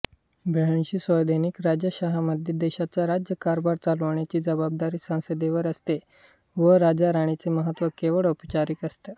बव्हंशी संवैधानिक राजेशाह्यांमध्ये देशाचा राज्यकारभार चालवण्याची जबाबदारी संसदेवर असते व राजाराणीचे महत्त्व केवळ औपचारिक असते